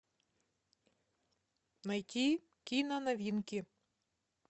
найти киноновинки